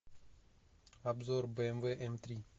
обзор бмв м три